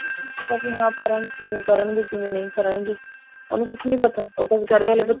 ਪਤਾ ਨਹੀਂ ਆ parents ਕਿਵੇਂ ਕਰਨਗੇ ਕਿਵੇਂ ਨਹੀਂ ਕਰਨਗੇ ਉਹਨੂੰ ਕੁਛ ਨੀ ਪਤਾ ਉਹ ਤਾਂ ਵਿਚਾਰੇ ਹਲੇ